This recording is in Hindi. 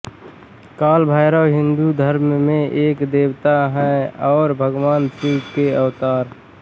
कालभैरव हिन्दू धर्म में एक देवता और भगवान शिव के अवतार